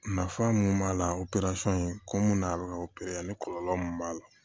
Nafa mun b'a la ko mun na a bɛ ka ni kɔlɔlɔ mun b'a la